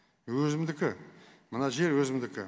өзімдікі мына жер өзімдікі